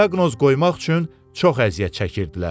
Diaqnoz qoymaq üçün çox əziyyət çəkirdilər.